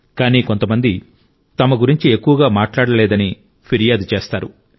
కానీ కొంతమంది తమ గురించి ఎక్కువగా మాట్లాడలేదని ఫిర్యాదు చేస్తారు